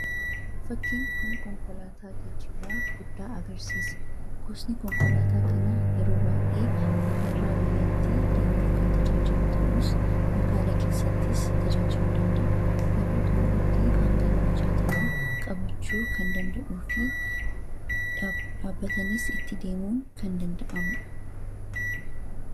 fakkiin kun konkolaataa geejjibaa guddaa agarsiisa. gosni konkolaataa kanaa yeroo baay'ee biyyairraa biyyatti deemuuf kan tajaajilu ta'uus magaala keessattis tajaajilu danda'a yeroo tokkootti hanga nama 60 qabachuu kan danda’uu fi dhaabbatanis itti deemuun kan danda'amudha